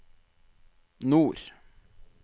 nord